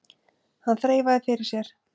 Hann þreifaði fyrir sér.